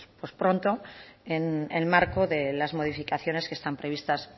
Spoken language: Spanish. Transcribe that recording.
pronto en el marco de las modificaciones que están previstas